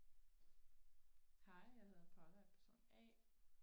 hej jeg hedder Paula og er person a